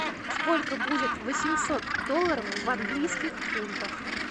сколько будет восемьсот долларов в английских фунтах